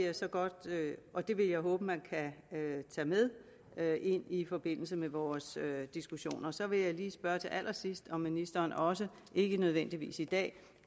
og det vil jeg håbe at man kan tage med med ind i forbindelse med vores diskussioner så vil jeg lige spørge til allersidst om ministeren også ikke nødvendigvis i dag